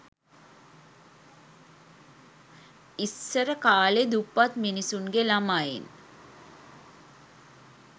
ඉස්සර කාලෙ දුප්පත් මිනිස්සුන්ගෙ ලමයින්